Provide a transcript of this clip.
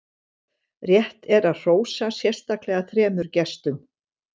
rétt er að hrósa sérstaklega þremur gestum